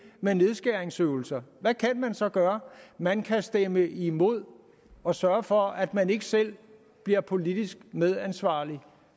med nedskæringsøvelser hvad kan man så gøre man kan stemme imod og sørge for at man ikke selv bliver politisk medansvarlig